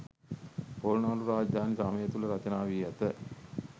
පොළොන්නරු රාජධානි සමය තුළ රචනා වී ඇත.